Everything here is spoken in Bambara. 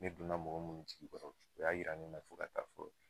Ne donna mɔgɔ munnu jigi kɔrɔ, o y'a yira ne la fɔ ka taa fɔ